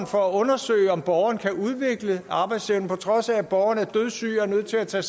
for at undersøge om borgeren kan udvikle arbejdsevne på trods af at borgeren er dødssyg og er nødt til at tage